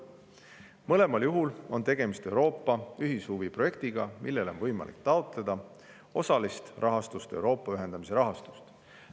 Mõlemal juhul on tegemist Euroopa ühishuviprojektiga, millele on võimalik taotleda osalist rahastust Euroopa ühendamise rahastust.